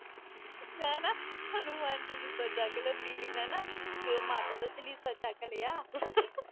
ਮੈਂ ਨਾ ਹਨੂੰਮਾਨ ਚਾਲੀਸਾ ਚੱਕ ਲਿਆ, ਦੀਦੀ ਨੇ ਨਾ ਮਾਤਾ ਦਾ ਚਾਲੀਸਾ ਚੱਕ ਲਿਆ